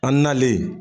An nalen